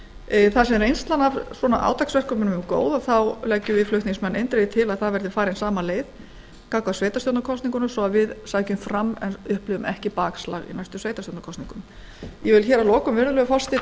máli þar sem reynslan af átaksverkefnum sem þessum er góð leggjum við flutningsmenn eindregið til að farin verði sama leið gagnvart sveitarstjórnarkosningunum svo að við sækjum fram en upplifum ekki bakslag í næstu sveitarstjórnarkosningum virðulegur forseti ég vil að lokum taka